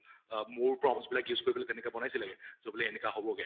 আহ more props বিলাক use কৰি তেনেকে বনাইছিলেগে, so বোলে এনেকা হʼব্গে